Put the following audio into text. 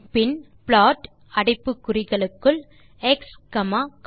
பின் plot அடைப்பு குறிகளுக்குள் x comma கோஸ்